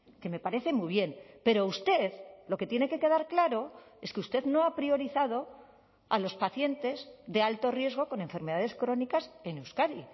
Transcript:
que me parece muy bien pero usted lo que tiene que quedar claro es que usted no ha priorizado a los pacientes de alto riesgo con enfermedades crónicas en euskadi